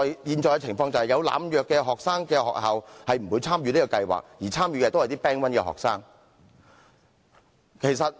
現時有學生濫藥的學校不會參與這個計劃，而參與的都是一些 Band 1學生。